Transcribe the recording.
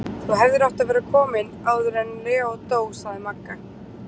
Þú hefðir átt að vera komin áður en Leó dó, segir Magga.